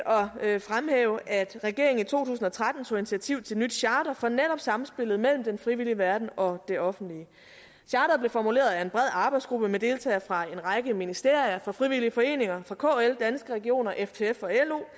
at fremhæve at regeringen i to tusind og tretten tog initiativ til et nyt charter for netop samspillet mellem den frivillige verden og det offentlige charteret blev formuleret af en bred arbejdsgruppe med deltagere fra en række ministerier fra frivillige foreninger fra kl danske regioner ftf og